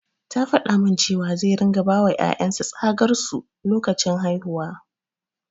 Ya faɗa min cewa zai ringa bawa ƴaƴan sa tsagar su lokacin haihuwa.